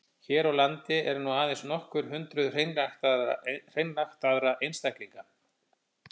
Hér á landi eru nú aðeins nokkur hundruð hreinræktaðra einstaklinga.